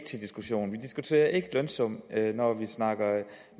til diskussion vi diskuterer ikke lønsum når vi snakker